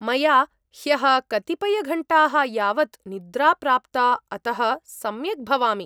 मया ह्यः कतिपयघण्टाः यावत् निद्रा प्राप्ता, अतः सम्यक् भवामि।